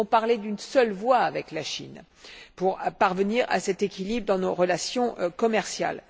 Nous devons parler d'une seule voix avec la Chine pour parvenir à cet équilibre dans nos relations commerciales.